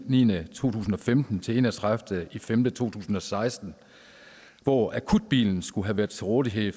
2015 til en og tredive nul fem 2016 hvor akutbilen skulle have været til rådighed i